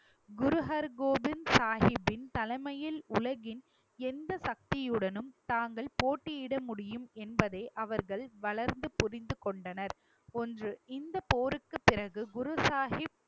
குரு ஹர்கோவிந் சாஹிப்பின் தலைமையில் உலகின் எந்த சக்தியுடனும் தாங்கள் போட்டியிட முடியும் என்பதே அவர்கள் வளர்ந்து புரிந்து கொண்டனர் ஒன்று இந்தப் போருக்குப் பிறகு குரு சாஹிப்